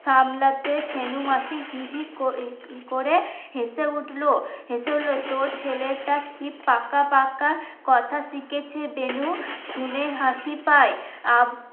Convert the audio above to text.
সামলাতে ছেনু মাসি হি হি করে করে হেসে উঠলো হেসে উঠলো তোর ছেলেটা কি পাকা পাকা কথা শিখেছে বেনু শুনে হাসি পায়